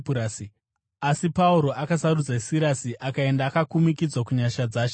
asi Pauro akasarudza Sirasi akaenda akakumikidzwa kunyasha dzaShe nehama.